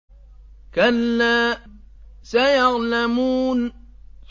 كَلَّا سَيَعْلَمُونَ